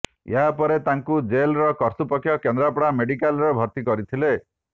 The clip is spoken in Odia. ଏହାପରେ ତାଙ୍କୁ ଜେଲ୍ କର୍ତ୍ତୃପକ୍ଷ କେନ୍ଦ୍ରାପଡ଼ା ମେଡିକାଲରେ ଭର୍ତ୍ତି କରିଥିଲେ